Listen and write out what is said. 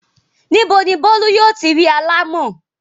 Ní bo ni Bólú yóò ti ri alámọ̀?